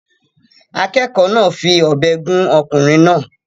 Akẹ́kọ̀ọ́ náà fi ọ̀bẹ gún ọkùnrin náà